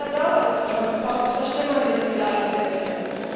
Mit der Dauer des Transports verschlimmern sich die Leiden der Tiere.